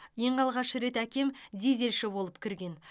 ең алғаш рет әкем дизельші болып кірген